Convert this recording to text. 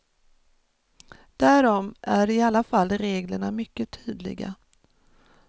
Därom är i alla fall reglerna mycket tydliga.